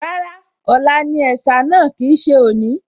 Rárá, ọ̀la ni ẹ̀sà náà kì í ṣe òní